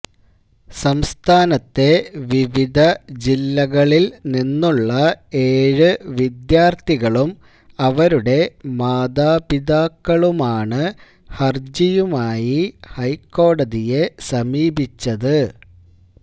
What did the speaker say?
സംസ്ഥാനത്തെ വിവിധ ജില്ലകളില് നിന്നുള്ള ഏഴ് വിദ്യാര്ത്ഥികളും അവരുടെ മാതാപിതാക്കളുമാണ് ഹര്ജിയുമായി ഹൈക്കോടതിയെ സമീപിച്ചത്